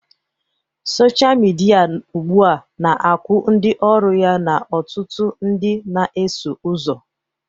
Sọsha midia ugbu a na-akwụ ndị ọrụ ya na ọtụtụ ndị na-eso ụzọ